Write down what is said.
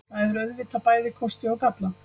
Það hefur auðvitað bæði kosti og galla.